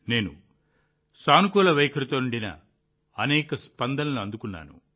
నేను సానుకూల వైఖరితో నిండిన అనేక స్పందనలను అందుకున్నాను